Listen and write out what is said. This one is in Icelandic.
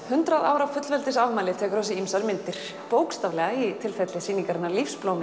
hundrað ára fullveldisafmæli tekur á sig ýmsar myndir bókstaflega í tilfelli sýningarinnar